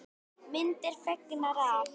Myndir fengnar af